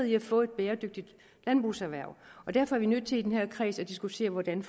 i at få et bæredygtigt landbrugserhverv derfor er vi nødt til i den her kreds at diskutere hvordan